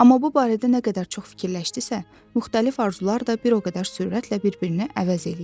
Amma bu barədə nə qədər çox fikirləşdisə, müxtəlif arzular da bir o qədər sürətlə bir-birini əvəz eləyirdi.